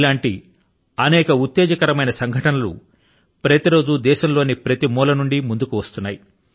ఇటువంటి అనేక ఉత్తేజకరమైన సంఘటన లు ప్రతి రోజూ దేశం లోని ప్రతి మూల నుండీ ముందుకు వస్తున్నాయి